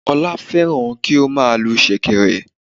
Olá férán kí ó má a lu sèkèrè